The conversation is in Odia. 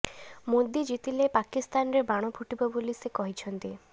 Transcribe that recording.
ମୋଦୀ ଜିତିଲେ ପାକିସ୍ତାନରେ ବାଣ ଫୁଟିବ ବୋଲି ସେ କହିଛନ୍ତି